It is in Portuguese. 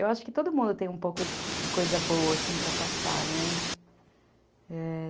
Eu acho que todo mundo tem um pouco de coisa boa para passar, né. É,